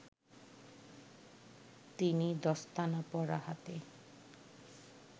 তিনি দস্তানা পরা হাতে